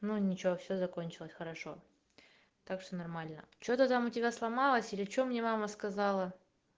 ну ничего все закончилось хорошо так все нормально что там у тебя сломалась или что мне мама сказала